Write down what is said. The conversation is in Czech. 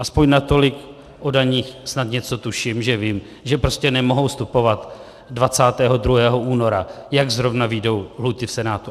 Aspoň natolik o daních snad něco tuším, že vím, že prostě nemohou vstupovat 22. února, jak zrovna vyjdou lhůty v Senátu.